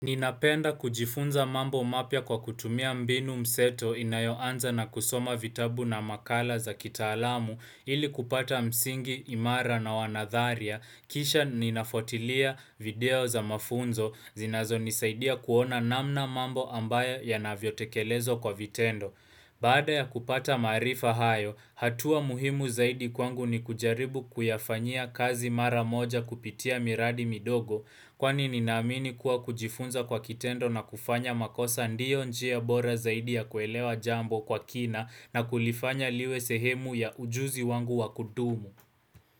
Ninapenda kujifunza mambo mapya kwa kutumia mbinu mseto inayoanza na kusoma vitabu na makala za kitaalamu ili kupata msingi, imara na wanadharia, kisha ninafuatilia video za mafunzo, zinazonisaidia kuona namna mambo ambayo yanavyotekelezwa kwa vitendo. Baada ya kupata maarifa hayo, hatua muhimu zaidi kwangu ni kujaribu kuyafanyia kazi mara moja kupitia miradi midogo kwani ninaamini kuwa kujifunza kwa kitendo na kufanya makosa ndio njia bora zaidi ya kuelewa jambo kwa kina na kulifanya liwe sehemu ya ujuzi wangu wakudumu.